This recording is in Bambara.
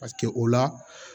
Paseke o la